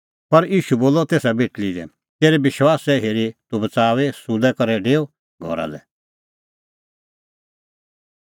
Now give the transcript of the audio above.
पर ईशू बोलअ तेसा बेटल़ी लै तेरै विश्वासै हेरी तूह बच़ाऊई सुलै करै डेऊ घरा लै